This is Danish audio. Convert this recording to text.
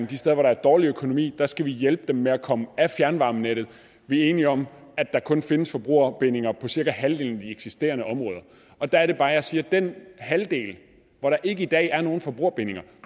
de steder hvor der er dårlig økonomi skal hjælpe barmarksværkerne med at komme af fjernvarmenettet vi er enige om at der kun findes forbrugerbindinger på cirka halvdelen af de eksisterende områder der er det bare jeg siger om den halvdel hvor der i dag ikke er nogen forbrugerbindinger